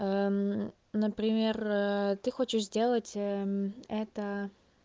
например ты хочешь сделать это